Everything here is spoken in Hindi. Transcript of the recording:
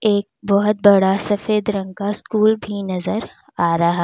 एक बहुत बड़ा सफेद रंग का स्कूल भी नजर आ रहा--